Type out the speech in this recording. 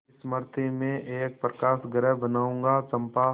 मृति में एक प्रकाशगृह बनाऊंगा चंपा